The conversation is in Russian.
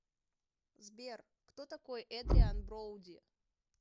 сбер кто такой эдриан броуди